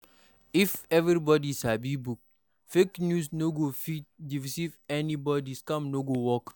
If everybody sabi book, fake news no go fit deceive anybody, scam no go work